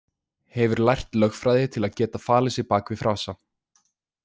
Hefur lært lögfræði til að geta falið sig bak við frasa.